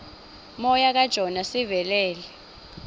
moya kajona sivelele